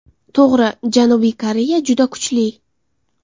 To‘g‘ri, Janubiy Koreya juda kuchli.